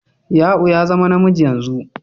Ya'u ya zama namiji yanzu.